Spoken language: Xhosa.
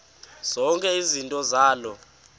zonke izinto zaloo